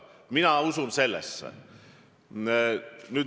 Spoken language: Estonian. Mina usun sellesse.